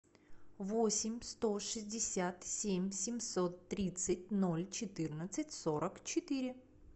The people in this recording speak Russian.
восемь сто шестьдесят семь семьсот тридцать ноль четырнадцать сорок четыре